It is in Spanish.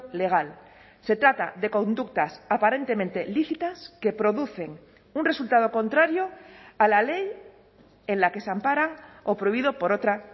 legal se trata de conductas aparentemente lícitas que producen un resultado contrario a la ley en la que se ampara o prohibido por otra